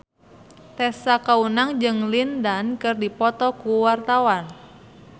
Tessa Kaunang jeung Lin Dan keur dipoto ku wartawan